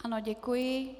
Ano, děkuji.